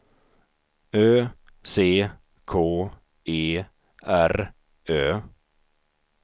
Ö C K E R Ö